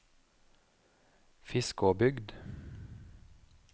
Fiskåbygd